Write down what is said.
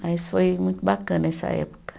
Mas foi muito bacana essa época.